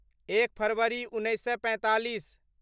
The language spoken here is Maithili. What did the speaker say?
एक फरवरी उन्नैस सए पैंतालीस